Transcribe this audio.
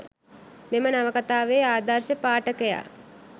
මෙම නවකතාවේ ආදර්ශ පාඨකයා